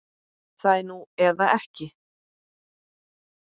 Það er núna eða ekki.